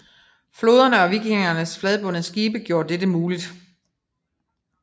Floderne og vikingernes fladbundede skibe gjorde dette muligt